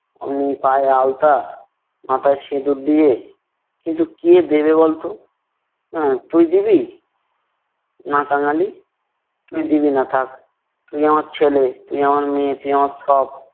আমি পায়ের আলতা, মাথায় সিঁদুর দিয়ে কিন্তু কে দেবে বলতো? আহ তুই দিবি? না কাঙালি। তুই দিবি না থাক। তুই আমার ছেলে, তুই আমার মেয়ে, তুই আমার সব।